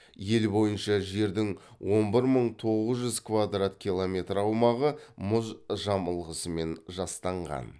ел бойынша жердің он бір мың тоғыз жүз квадрат километр аумағы мұз жамылғысымен жастанған